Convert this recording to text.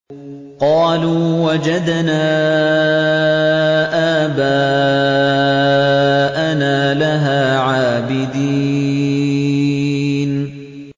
قَالُوا وَجَدْنَا آبَاءَنَا لَهَا عَابِدِينَ